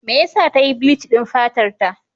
Me yasa ta yi bleach din fatarta?